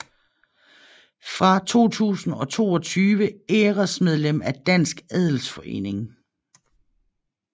Fra 2022 æresmedlem af Dansk Adelsforening